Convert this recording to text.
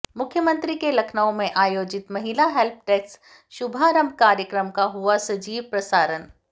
मुख्यमंत्री के लखनऊ में आयोजित महिला हेल्प डेस्क शुभारम्भ कार्यक्रम का हुआ सजीव प्रसारण